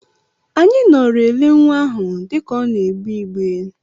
Anyị nọọrọ ele nwa ahụ dịka ọ na-egbe igbe.